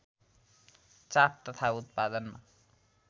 चाप तथा उत्पादनमा